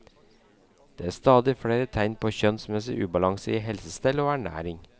Det er stadig flere tegn på kjønnsmessig ubalanse i helsestell og ernæring.